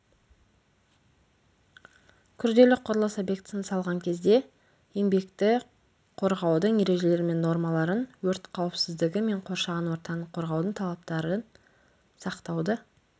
күрделі құрылыс объектісін салған кезде еңбекті қорғаудың ережелері мен нормаларын өрт қауіпсіздігі мен қоршаған ортаны қорғаудың талаптарын сақтауды